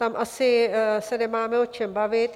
Tam asi se nemáme o čem bavit.